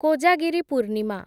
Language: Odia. କୋଜାଗିରି ପୂର୍ଣ୍ଣିମା